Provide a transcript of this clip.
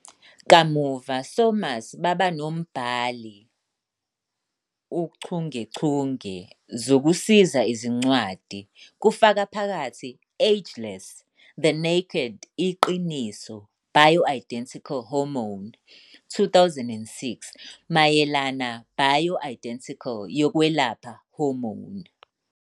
Kamuva Somers baba nombhali uchungechunge zokuzisiza izincwadi, kufaka phakathi "Ageless- The Naked Iqiniso Bioidentical hormone", 2006, mayelana bioidentical yokwelapha hormone.